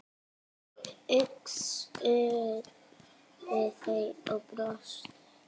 hugsuðu þau og brostu.